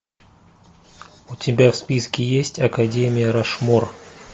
у тебя в списке есть академия рашмор